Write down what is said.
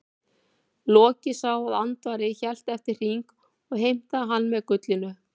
Loki sá að Andvari hélt eftir hring og heimtaði hann með gullinu.